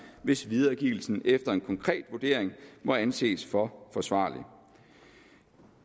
hvis videregivelsen efter en konkret vurdering må anses for forsvarlig